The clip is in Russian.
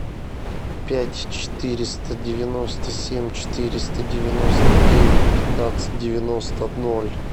пять четыреста девяносто семь четыреста девяносто девять пятнадцать девяносто ноль